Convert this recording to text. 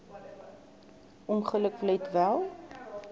ongeluk let wel